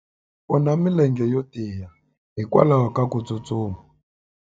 u na milenge yo tiya hikwalaho ko tsustuma